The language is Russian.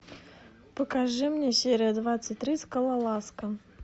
покажи мне серия двадцать три скалолазка